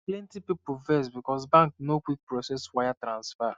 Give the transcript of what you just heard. plenty people vex because bank no quick process wire transfer